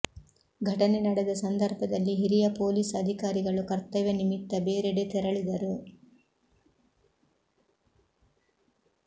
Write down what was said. ಘಟನೆ ನಡೆದ ಸಂದರ್ಭದಲ್ಲಿ ಹಿರಿಯ ಪೊಲೀಸ್ ಅಧಿಕಾರಿಗಳು ಕರ್ತವ್ಯ ನಿಮಿತ್ತ ಬೇರೆಡೆ ತೆರಳಿದರು